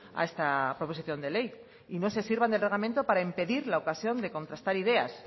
a esta proposición de ley y no se sirvan del reglamento para impedir la ocasión de contrastar ideas